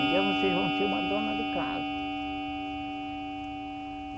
Um dia vocês vão ser uma dona de casa.